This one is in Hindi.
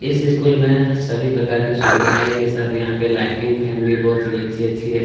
इस स्कूल में सभी प्रकार के सुविधाए के साथ यहाँ पे लाइटिंग फैन भी बहुत ही अच्छी अच्छी है।